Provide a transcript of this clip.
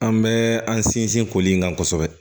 An bɛ an sinsin koli in kan kosɛbɛ